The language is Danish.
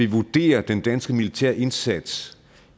vurderer den danske militærindsats